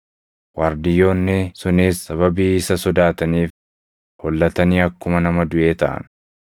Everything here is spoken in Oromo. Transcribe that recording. Waardiyyoonni sunis sababii isa sodaataniif hollatanii akkuma nama duʼee taʼan.